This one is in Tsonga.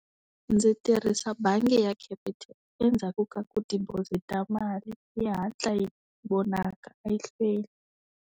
Ndzi tirhisa bangi ya Capitec endzhaku ka ku deposit-a mali yi hatla yi vonaka a yi hlweli.